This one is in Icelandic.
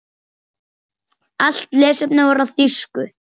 Allt lesefni var á þýsku.